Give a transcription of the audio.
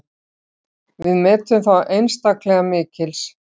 Við metum þá einstaklega mikils.